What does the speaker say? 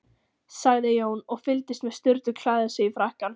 sagði Jón, og fylgdist með Sturlu klæða sig í frakkann.